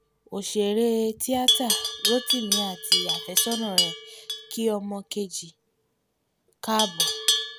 òṣèré tíáta rotimi àti àfẹ́sọ́nà rẹ̀ kí ọmọ kejì káàbọ̀